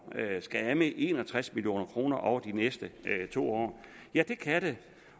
skal af med en og tres million kroner over de næste to år ja det kan det